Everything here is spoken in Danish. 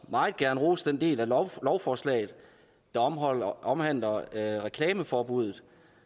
meget gerne rose den del af lovforslaget der omhandler reklameforbuddet